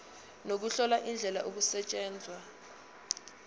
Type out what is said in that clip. nokuhlola indlela okusetshenzwa